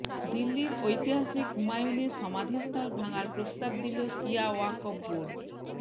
দিল্লির ঐতিহাসিক হুমায়ূনের সমাধিস্থল ভাঙার প্রস্তাব দিল শিয়া ওয়াকফ বোর্ড